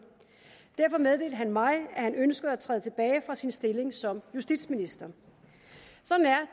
derfor meddelte han mig at han ønskede at træde tilbage fra sin stilling som justitsminister sådan er